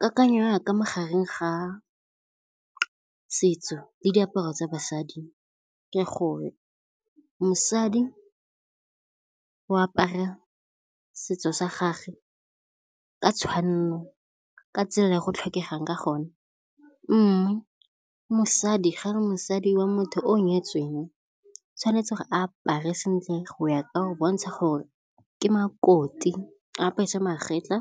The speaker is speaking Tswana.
Kakanyo yaka magareng ga setso le diaparo tsa basadi ke gore mosadi go apara setso sa gage ka tshwanelo, ka tsela e go tlhokegang ka gone. Mme mosadi, ga re mosadi wa motho o nyetsweng tshwanetse apare sentle go ya ka go bontsha gore ke makoti. A apeswe magetlha,